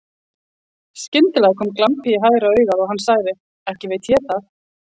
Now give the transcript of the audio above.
Skyndilega kom glampi í hægra augað og hann sagði: Ekki veit ég það.